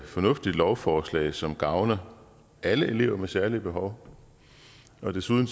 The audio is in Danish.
fornuftigt lovforslag som gavner alle elever med særlige behov og desuden